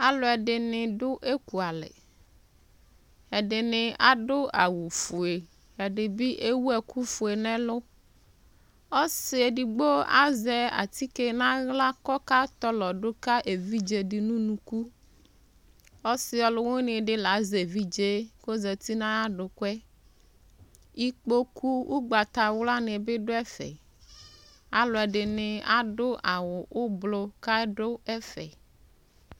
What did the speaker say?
alʋɛdini dʋ ɛkʋalɛ, ɛdini adʋ awʋ ƒʋɛ, ɛdibi ɛwʋ ɛkʋ ƒʋɛ nʋ ɛlʋ, ɔsii ɛdigbɔ azɛ atikè nʋ ala kʋ ɔka tɔlɔ ka ɛvidzɛ nʋ ʋnʋkʋ, ɔsii ɔlʋwini di la azɛ ɛvidzɛ kʋ ɔzati nʋ ayi adʋkʋɛ, ikpɔkʋ ɔgbatawla dini bi dʋ ɛƒɛ, alʋɛdini adʋ awʋ ɔblɔ kʋ aɖʋ ɛƒɛ